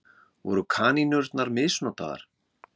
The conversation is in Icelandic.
Voru kanínurnar misnotaðar?